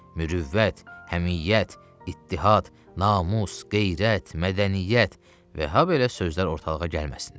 Mürüvvət, həmiyyət, ittihad, namus, qeyrət, mədəniyyət və habelə sözlər ortalığa gəlməsinlər.